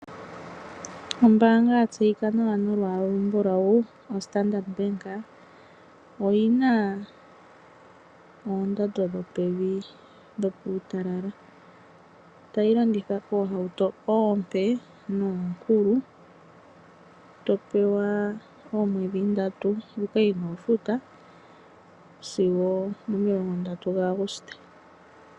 Ombaanga ya tseyika nawa nolwaala olumbulawu oStandard Bank, oyi na oondando dho pevi dho puutalala. Tayi landitha oohauto oompe noonkulu, to pewa omweedji ndatu oku yi futa sigo omo milongo ndatu ga Aguste.